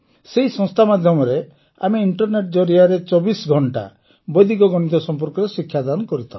ସେହି ସଂସ୍ଥା ମାଧ୍ୟମରେ ଆମେ ଇଂଟରନେଟ୍ ଜରିଆରେ ଚବିଶ ଘଂଟା ବୈଦିକ ଗଣିତ ସମ୍ପର୍କରେ ଶିକ୍ଷାଦାନ କରିଥାଉ